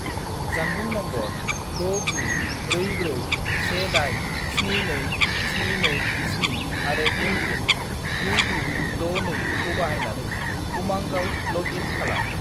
जानबुं नम्बर 69441872727 आरो एम.पिन. 9962 खौ बाहायनानै उमांआव लग इन खालाम।